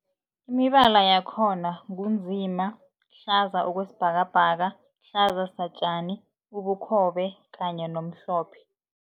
Imibala yakhona ngu nzima, hlaza okwesibhakabhaka, hlaza satjani, ubukhobe kanye nomhlophe.